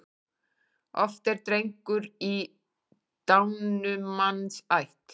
Oft er drengur í dánumanns ætt.